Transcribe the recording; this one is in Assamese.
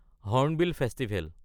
hornbill festival